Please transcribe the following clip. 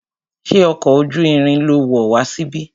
Ṣé ọkọ̀ ojú irin lo wọ̀ wá síbí?